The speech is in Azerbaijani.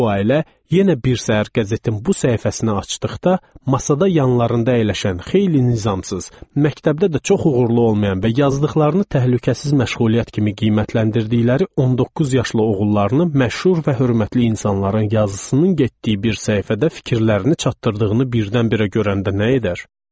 Bu ailə yenə bir səhər qəzetin bu səhifəsini açdıqda masada yanlarında əyləşən xeyli nizamsız, məktəbdə də çox uğurlu olmayan və yazdıqlarını təhlükəsiz məşğuliyyət kimi qiymətləndirdikləri 19 yaşlı oğullarını məşhur və hörmətli insanların yazısının getdiyi bir səhifədə fikirlərini çatdırdığını birdən-birə görəndə nə edər?